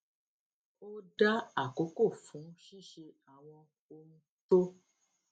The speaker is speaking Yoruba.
ó dá àkókò fún ṣíṣe àwọn ohun tó